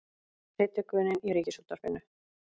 Predikunin í Ríkisútvarpinu